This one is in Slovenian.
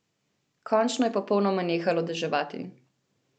Končno je popolnoma nehalo deževati.